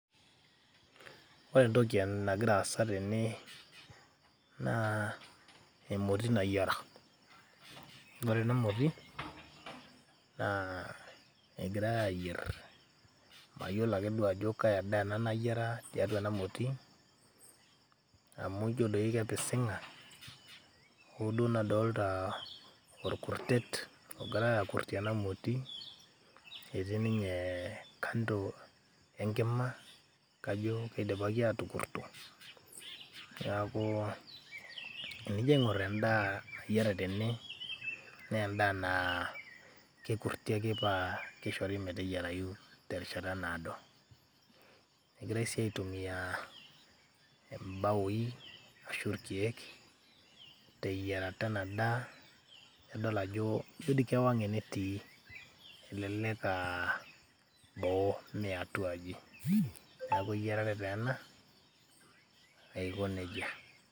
ore entoki nagira aasa tene naa emoti nayiara ore ena moti naa egirae ayierr mayiolo ake duo ajo kaa daa ena nayiara titua enamoti amu ijio doi kepising'a hooduo nadolta orkurtet ogirae akurrtie ena moti etii ninye kando enkima kajo kidipaki atukurrto niaku enijio aing'orr endaa nayiara tene nee endaa naa kekurrti ake paa kishori meteyiarayu terishata naado egirae sii aitumia imbaoi ashu irkiek teyiarata ena daa adol ajo ijio dii kewang enetii elelek aa boo mee atua aji neeku eyiarare taa ena aiko nejia.